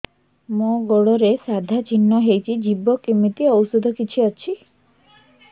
ମୋ ଗୁଡ଼ରେ ସାଧା ଚିହ୍ନ ହେଇଚି ଯିବ କେମିତି ଔଷଧ କିଛି ଅଛି